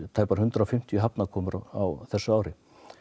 tæpar hundrað og fimmtíu á þessu ári